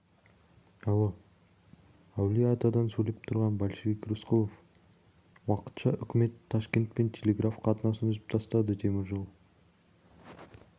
алло әулиеатадан сөйлеп тұрған большевик рысқұлов уақытша үкімет ташкентпен телеграф қатынасын үзіп тастады темір жол